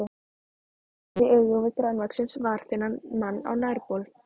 Ég horfist í augu við grannvaxinn, varaþunnan mann á nærbol.